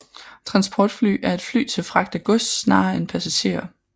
Transportfly er et fly til fragt af gods snarere end passagerer